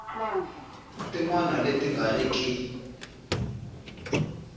tin wana leti nga riki